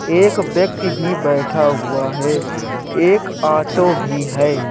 एक व्यक्ति भी बैठा हुआ है। एक ऑटो भी है।